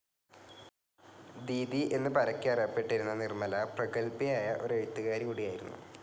ദീദി എന്നു പരക്കെ അറിയപ്പെട്ടിരുന്ന നിർമ്മല പ്രഗല്ഭയായ ഒരു എഴുത്തുകാരി കൂടിയായിരുന്നു.